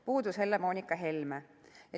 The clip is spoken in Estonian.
Puudus Helle-Moonika Helme.